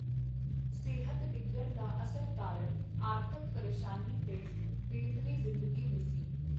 ਸਿਹਤ ਡਿੱਗਣ ਦਾ ਅਸਲ ਕਾਰਨ ਆਰਥਕ ਪਰੇਸ਼ਾਨੀ ਤੇ ਬੇਥੱਵੀ ਜ਼ਿੰਦਗੀ ਵੀ ਸੀ.